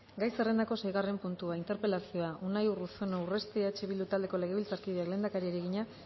gai zerrendako seigarren puntua interpelazioa unai urruzuno urresti eh bildu taldeko legebiltzarkideak lehendakariari egina